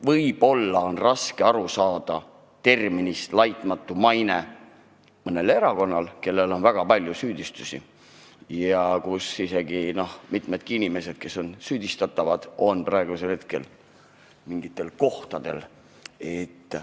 Näiteks selle, et võib-olla on terminist "laitmatu maine" raske aru saada mõnel erakonnal, kel on kaelas väga palju süüdistusi ja kuhu kuuluvad mitmed inimesed on süüdistatavad, kuigi on mingil tähtsal kohal.